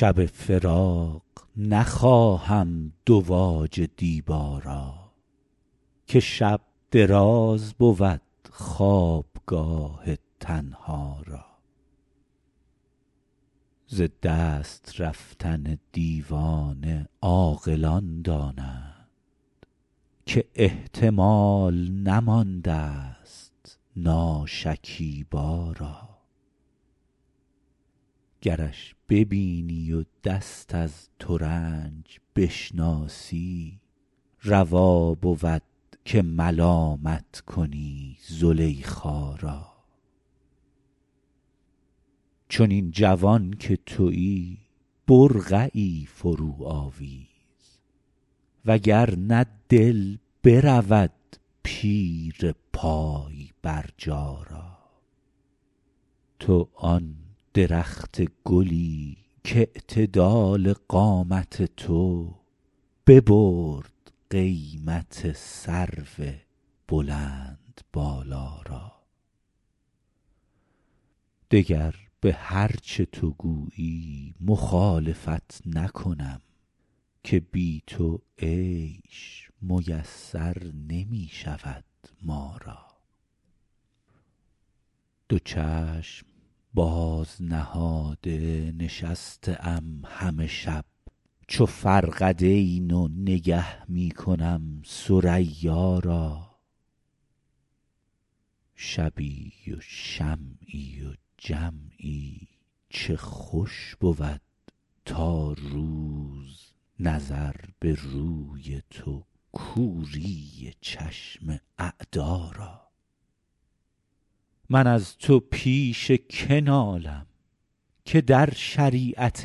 شب فراق نخواهم دواج دیبا را که شب دراز بود خوابگاه تنها را ز دست رفتن دیوانه عاقلان دانند که احتمال نماندست ناشکیبا را گرش ببینی و دست از ترنج بشناسی روا بود که ملامت کنی زلیخا را چنین جوان که تویی برقعی فروآویز و گر نه دل برود پیر پای برجا را تو آن درخت گلی کاعتدال قامت تو ببرد قیمت سرو بلندبالا را دگر به هر چه تو گویی مخالفت نکنم که بی تو عیش میسر نمی شود ما را دو چشم باز نهاده نشسته ام همه شب چو فرقدین و نگه می کنم ثریا را شبی و شمعی و جمعی چه خوش بود تا روز نظر به روی تو کوری چشم اعدا را من از تو پیش که نالم که در شریعت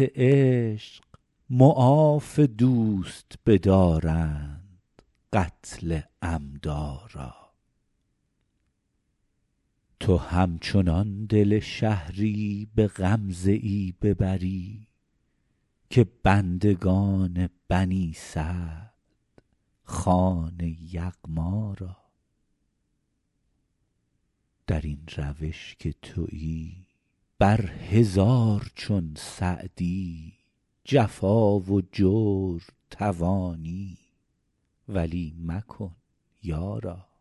عشق معاف دوست بدارند قتل عمدا را تو همچنان دل شهری به غمزه ای ببری که بندگان بنی سعد خوان یغما را در این روش که تویی بر هزار چون سعدی جفا و جور توانی ولی مکن یارا